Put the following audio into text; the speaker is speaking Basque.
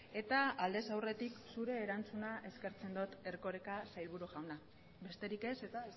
eta aldez aurretik zure erantzuna eskertzen dot erkoreka sailburu jauna besterik ez eta